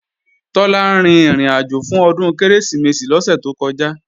Tọ́lá rin ìrìnàjò fún Ọdún Kérésìmesì lọ́sẹ̀ tó kọjá